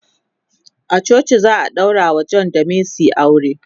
a coci za'a daurawa John da mercy aure.